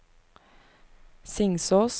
Singsås